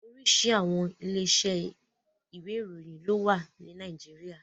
Oríṣiríṣi àwọn ilé iṣẹ́ ìwé ìròyìn ló wà ní Nàìjíríà.